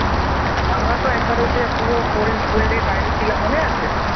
আমরা তো একবার ওই যে পুরো hole hole day বাইরে ছিলাম মনে আছে?